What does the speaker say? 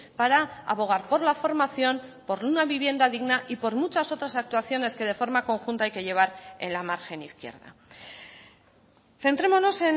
para abogar por la formación por una vivienda digna y por muchas otras actuaciones que de forma conjunta hay que llevar en la margen izquierda centrémonos